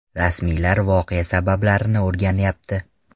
Rasmiylar voqea sabablarini o‘rganyapti.